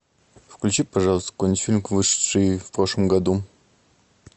включи пожалуйста какой нибудь фильм вышедший в прошлом году